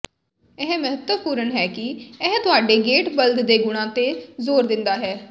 ਇਹ ਮਹੱਤਵਪੂਰਨ ਹੈ ਕਿ ਇਹ ਤੁਹਾਡੇ ਗੇਟ ਬਲਦ ਦੇ ਗੁਣਾਂ ਤੇ ਜ਼ੋਰ ਦਿੰਦਾ ਹੈ